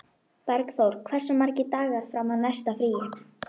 Bergþór, hversu margir dagar fram að næsta fríi?